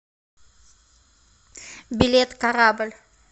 билет корабль